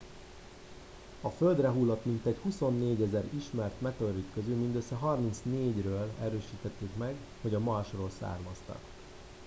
a földre hullott mintegy 24 000 ismert meteorit közül mindössze 34 ről erősítették meg hogy a marsról származtak